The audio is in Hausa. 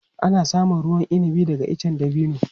Ana samun ruwan inabi daga icen dabino.